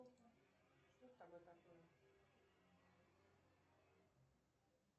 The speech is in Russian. что с тобой такое